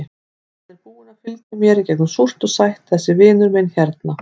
Hann er búinn að fylgja mér í gegnum súrt og sætt, þessi vinur minn hérna.